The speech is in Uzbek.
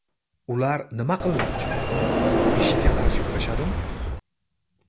Ular nima qilmoqchi, IShIDga qarshi kurashadimi?